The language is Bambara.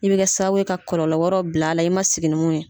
I bɛ kɛ sababu ye ka kɔlɔlɔ wɛrɛw bila a la i ma sigi ni mun ye.